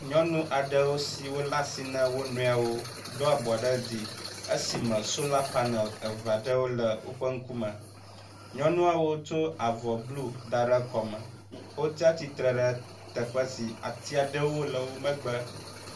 nyɔnu aɖewo siwó leasi na wonɔewo dó abɔ ɖe dzi esime sola panel eveaɖewo le wóƒe ŋkume nyɔnuawo tso avɔ blu daɖe wóƒe kɔme , wotsiatsitsre ɖe teƒe si atiaɖewo le wó megbe